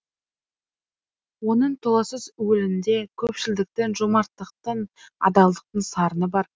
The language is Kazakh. оның толассыз уілінде көпшілдіктің жомарттықтың адалдықтың сарыны бар